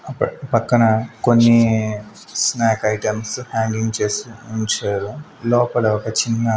అక్కడ పక్కన కొన్ని స్నాక్ ఐటమ్స్ హ్యాంగింగ్ చేసి ఉంచారు లోపల ఒక చిన్న--